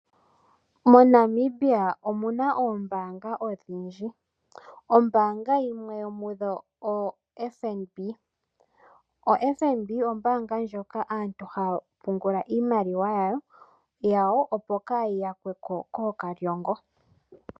MoNamibia omuna ombaanga odhindji, ombaanga yimwe yomudho oyoFNB, oFNB oko aantu haya pungula iimaliwa yawo, opo kaayi yakwe ko koolya mupombo.